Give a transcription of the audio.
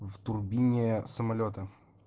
в турбине самолёта